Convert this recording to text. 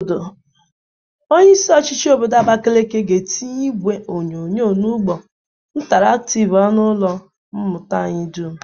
Onyeisi ochịchị obodo Abakeleke ga-etinye igwe onyonyo na ụgbọ intaraktịv n'ọnụ ụlọ mmụta anyị dum.